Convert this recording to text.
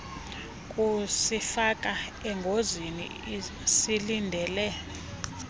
kusifaka engozini silindele